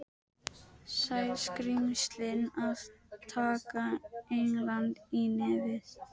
Sæskrímslin að taka England í nefið.